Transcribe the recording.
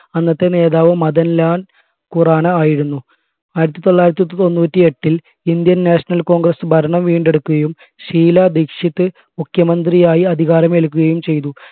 അന്നത്തെ നേതാവ് മദൻലാൽ ഖുറാനായിരുന്നു ആയിരത്തി തൊള്ളായിരത്തി തൊണ്ണൂറ്റി എട്ടിൽ Indian national congress ഭരണം വീണ്ടെടുക്കുകയും ഷീല ദീക്ഷിത് മുഖ്യമന്ത്രിയായി അധികാരം ഏൽക്കുകയും ചെയ്തു